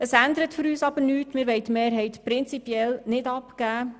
Für uns ändert dies aber nichts, denn wir wollen die Mehrheit prinzipiell nicht abgeben.